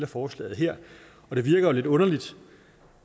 forslaget her det virker lidt underligt